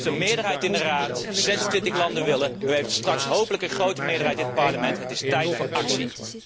U heeft de meerderheid in de Raad, 26 landen doen mee, u heeft straks hopelijk een grote meerderheid in het Parlement het is tijd voor actie!